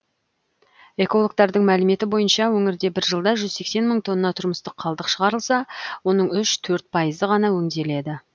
экологтардың мәліметі бойынша өңірде бір жылда жүз сексен мың тонна тұрмыстық қалдық шығарылса оның үш төрт пайызы ғана өңделеді